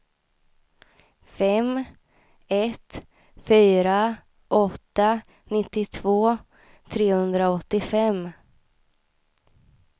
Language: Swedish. fem ett fyra åtta nittiotvå trehundraåttiofem